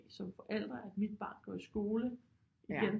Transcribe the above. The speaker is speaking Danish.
Som forælder at mit barn går i skole igen